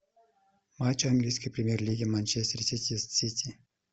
матч английской премьер лиги манчестер сити с сити